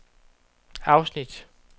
afsnit